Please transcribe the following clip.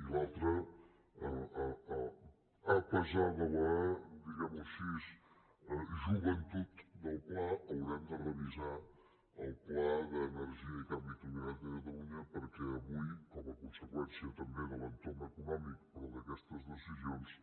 i l’altre a pesar de la diguem ho així joventut del pla haurem de revisar el pla d’energia i canvi climàtic de catalunya perquè avui com a conseqüència també de l’entorn econòmic però d’aquestes decisions